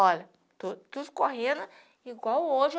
Olha, estou estou correndo igual hoje.